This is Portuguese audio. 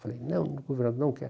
Falei, não, governador, não quero.